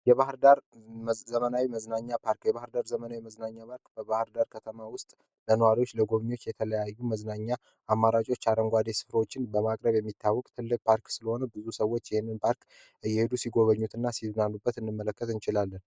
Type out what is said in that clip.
የባህር ዳር ዘመናዊ መዝናኛ ፓርክ የባህር ዳር ዘመናዊ መዝናኛ ባርክ በባህር ዳር ከተማ ውስጥ ለነዋሪዎች ለጎብኚች የተለያዩ መዝናኛ አማራጮች አረንጓዴ ስፍሮዎችን በማቅረብ የሚታወቅ ትልቅ ፓርክ ስለሆነ ብዙ ሰዎች የሄንን ባርክ እየሄዱ ሲጎበኙት እና ሲዙናኑበት እንመለከት እንችላለን።